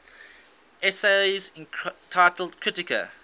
essays entitled kritika